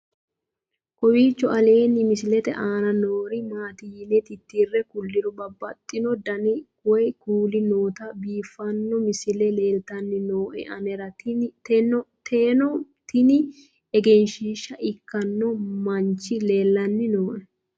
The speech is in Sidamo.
kowiicho aleenni misilete aana noori maati yine titire kulliro babaxino dani woy kuuli nooti biiffanno misile leeltanni nooe anera tino tini egenshshiishsha ikkino manchi leellanni nooe